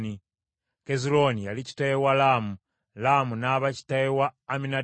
Kezulooni yali kitaawe wa Laamu, Laamu n’aba kitaawe wa Amminadaabu.